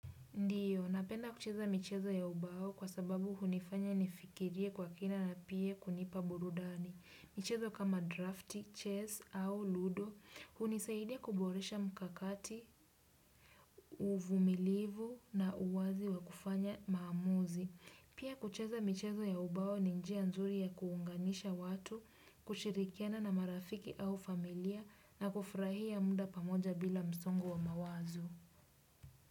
Ndiyo, napenda kucheza michezo ya ubao kwa sababu hunifanya nifikirie kwa kina na pia kunipa burudani. Michezo kama draft, chess au ludo, hunisaidia kuboresha mkakati, uvumilivu na uwazi wa kufanya maamuzi. Pia kucheza michezo ya ubao ninjia nzuri ya kuunganisha watu, kushirikiana na marafiki au familia na kufurahia muda pamoja bila msongo wa mawazo.